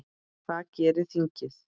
Hvað gerir þingið?